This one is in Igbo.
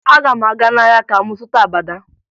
Aga m aga n'ahịa ka m zụta abada